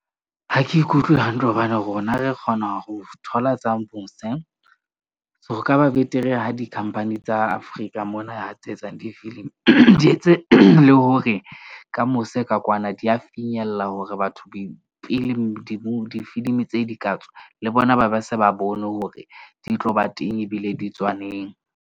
Ha ke ikutlwe hantle hobane rona re kgona ho thola tsa mose. Ho ka ba betere ha di-company tsa Afrika mona tse etsang difilimi, di etse le hore ka mose ka kwana di ya finyella hore batho pele difilimi, tse di ka tswa le bona, ba ba se ba bone hore di tlo ba teng ebile di tswa neng.